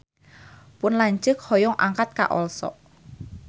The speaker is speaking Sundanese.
Pun lanceuk hoyong angkat ka Oslo